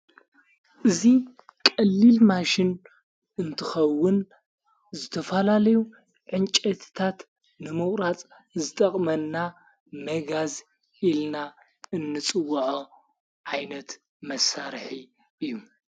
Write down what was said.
እዙይ ቀሊል ማሽን እንትኸውን ዝተፈላለዩ ዕንጨትታት ንምቁራጽ ዝጠቕመና መጋዝ ኢልና እንጽወዐ ዓይነት መሣርሒ እዩ፡፡